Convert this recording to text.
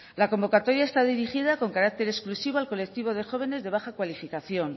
la convocatoria está dirigía con carácter exclusivo al colectivo de jóvenes de baja cualificación